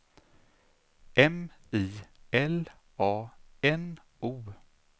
M I L A N O